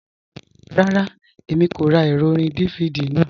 Rárá, Èmi kò rá ẹrọ̀ orín DVD náà.